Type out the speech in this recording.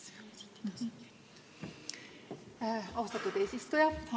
Austatud eesistuja!